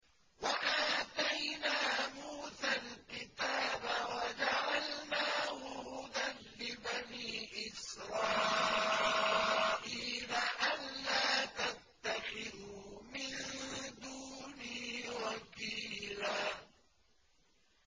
وَآتَيْنَا مُوسَى الْكِتَابَ وَجَعَلْنَاهُ هُدًى لِّبَنِي إِسْرَائِيلَ أَلَّا تَتَّخِذُوا مِن دُونِي وَكِيلًا